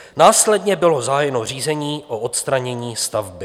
Následně bylo zahájeno řízení o odstranění stavby.